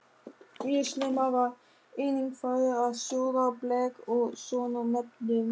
Mjög snemma var einnig farið að sjóða blek úr svonefndum